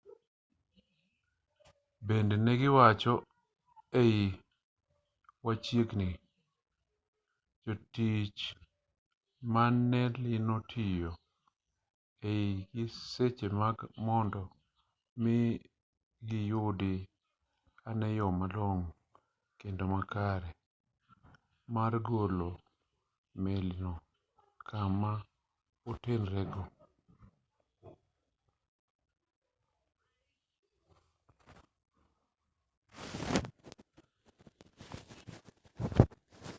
bende ne giwacho ei wechegi ni jotij melino tiyo gi e sechegi mar mondo mi giyudi ane yo malong'o kendo makare mar golo melino kama entiereno